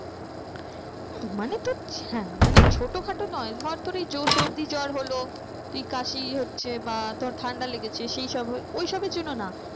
হ্যাঁ মানে ছোটো খাটো নয় ধর তোর এই সর্দি জ্বর হলো তুই কাশি হচ্ছে বা তোর ঠান্ডা লেগেছে সেই সব